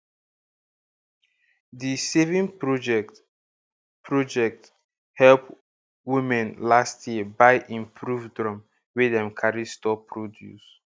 di saving project project help womne last year buy improved drum wey dem carry store produce